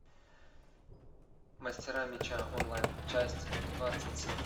мастера меча онлайн часть двадцать семь